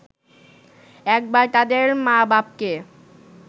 একবার তাদের মা-বাপকে